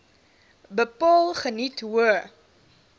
bepaal geniet hoë